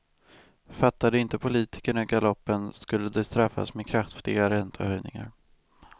Fattade inte politikerna galoppen, skulle de straffas med kraftiga räntehöjningar.